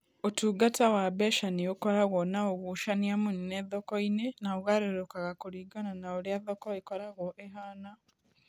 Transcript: Ũtungata wa mbeca nĩ ũkoragwo na ũgucania mũnene thoko-inĩ na ũgarũrũkaga kũringana na ũrĩa thoko ĩkoragwo ĩhaana.